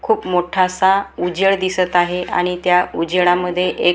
खूप मोठासा उजेड दिसत आहे आणि त्या उजेडामध्ये एक--